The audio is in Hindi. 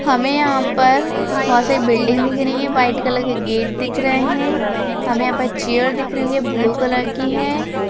हमें यहां पर बहुत सारी बिल्डिंग दिख रही है और वाइट कलर का गेट दिख रहा है हमें यहां पर चेयर दिख रही है जो की ब्लू कलर की है।